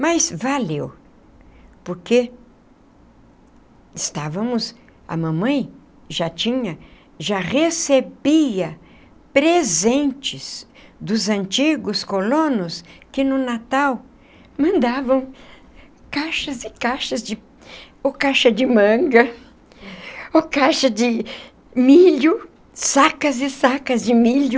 Mas valeu, porque estávamos... a mamãe já tinha, já recebia presentes dos antigos colonos que no Natal mandavam caixas e caixas de... ou caixa de manga, ou caixa de milho, sacas e sacas de milho,